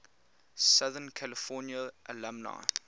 southern california alumni